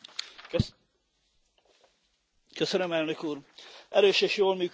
Elnök Úr, erős és jól működő civil társadalom nélkül nincs demokrácia.